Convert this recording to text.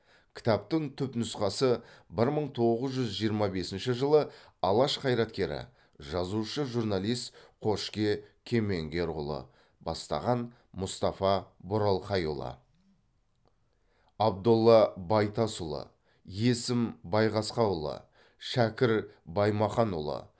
кітаптың түпнұсқасы бір мың тоғыз жүз жиырма бесінші жылы алаш қайраткері жазушы журналист қошке кемеңгерұлы бастаған мұстафа боралқайұлы абдолла байтасұлы есім байғасқаұлы шәкір баймақанұлы